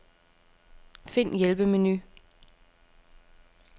Find hjælpemenu.